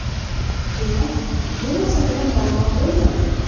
Demak, bu masalada muammo bo‘lmaydi.